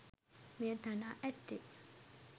මෙය තනා ඇත්තේ